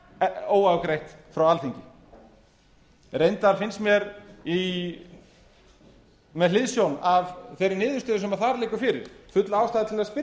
þá óafgreitt frá alþingi reyndar finnst mér með hliðsjón af þeirri niðurstöðu sem þar liggur fyrir full ástæða til að